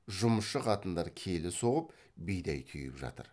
жұмысшы қатындар келі соғып бидай түйіп жатыр